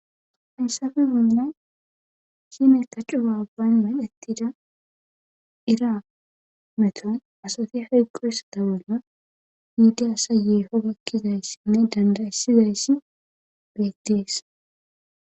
Haysape bollan de'iza IRA metin asati inte hayqoydabolan